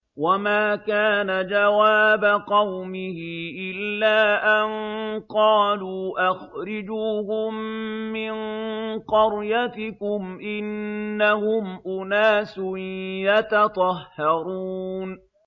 وَمَا كَانَ جَوَابَ قَوْمِهِ إِلَّا أَن قَالُوا أَخْرِجُوهُم مِّن قَرْيَتِكُمْ ۖ إِنَّهُمْ أُنَاسٌ يَتَطَهَّرُونَ